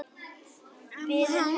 Biðin heldur áfram.